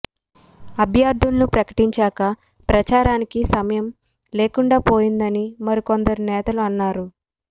అభ్యర్థులను ప్రకటించాక ప్రచారానికి సమయం లేకుండా పోయిందని మరికొందరు నేతలు అన్నారు